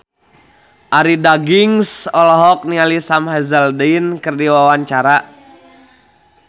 Arie Daginks olohok ningali Sam Hazeldine keur diwawancara